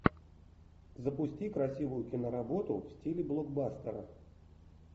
запусти красивую киноработу в стиле блокбастера